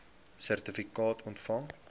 sertifikaat ontvang